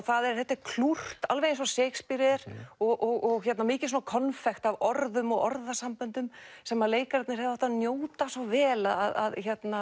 það þetta er klúrt alveg eins og Shakespeare er og mikið konfekt af orðum og orðasamböndum sem leikararnir hefðu átt að njóta svo vel að